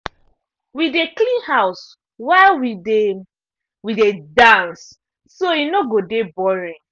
we dey clean house while we dey we dey dance so e no go de boring.